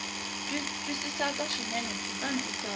twisisaka swinene kutani u tsala